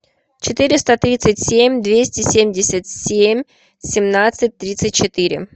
четыреста тридцать семь двести семьдесят семь семнадцать тридцать четыре